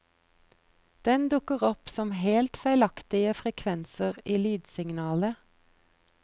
Den dukker opp som helt feilaktige frekvenser i lydsignalet.